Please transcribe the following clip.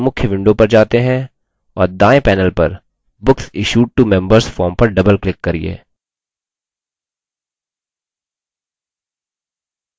base के मुख्य window पर जाते है और दायें panel पर books issued to members form पर double click करिये